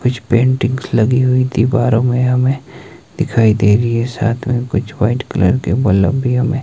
कुछ पेंटिंग्स लगी हुई दीवारों में हमें दिखाई दे रही है साथ में कुछ व्हाइट कलर के बलफ भी हमें--